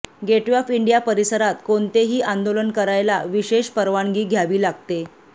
gate way of India परिसरात कोणतेही आंदोलन करायला विशेष परवानगी घ्यावी लागते